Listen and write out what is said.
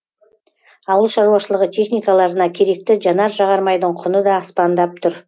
ауыл шаруашылығы техникаларына керекті жанар жағармайдың құны да аспандап тұр